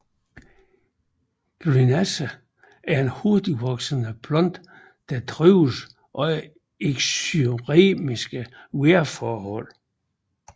Grenache er en hurtigtvoksende plante og trives under eksyreme vejrforhold